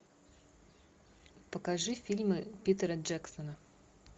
покажи фильмы питера джексона